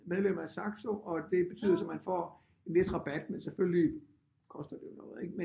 Medlem af Saxo og det betyder så man får en vis rabat men selvfølgelig koster det jo